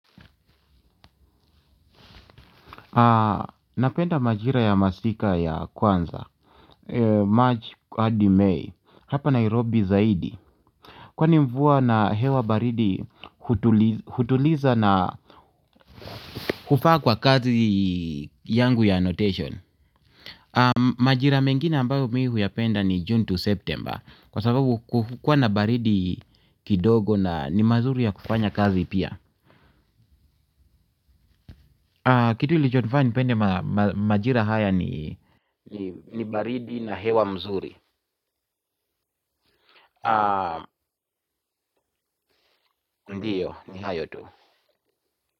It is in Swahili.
Napenda majira ya masika ya kwanza March, hadi May. Hapa Nairobi zaidi kwani mvua na hewa baridi hutuliza na hufaa kwa kazi yangu ya annotation. Majira mengine ambayo mimi huyapenda ni June to September. Kwa sababu hukuwa na baridi kidogo na ni mazuri ya kufanya kazi pia. Kitu ilichonifanya nipende majira haya ni baridi na hewa mzuri. Ndiyo, ni hayo tu.